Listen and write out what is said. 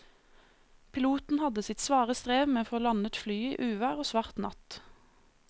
Piloten hadde sitt svare strev med å få landet flyet i uvær og svart natt.